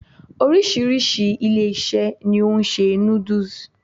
Oríṣiríṣi ilé-ìṣẹ́ ni o n se noodles